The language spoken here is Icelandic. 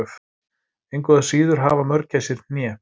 Engu að síður hafa mörgæsir hné.